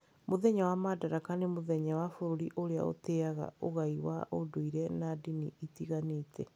Mũthenya wa Madaraka nĩ mũthenya wa bũrũri ũrĩa ũtĩaga ũgai wa ũndũire na ndini itiganĩte.